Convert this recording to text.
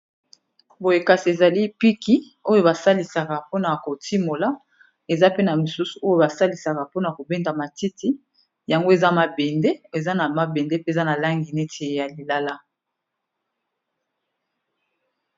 Boye kasi ezali piki oyo ba salisaka pona ko timola eza pe na misusu oyo ba salisaka pona ko benda matiti yango eza mabende eza na mabende pe eza na langi neti ya lilala.